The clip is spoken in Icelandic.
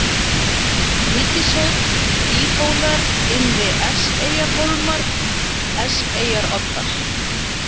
Vítishóll, Tíðhólar, Innri-Eskeyjarhólmar, Eskeyjaroddar